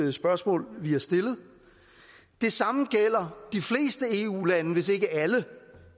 et spørgsmål vi har stillet det samme gælder de fleste eu lande hvis ikke alle